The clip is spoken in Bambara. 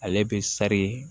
Ale bɛ sari